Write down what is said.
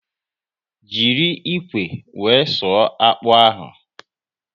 Jiri ikwe wee sụọ akpụ ahụ